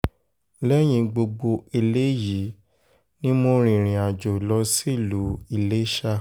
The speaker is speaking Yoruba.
lẹ́yìn gbogbo eléyìí ni mo rìnrìn-àjò lọ sílùú iléṣà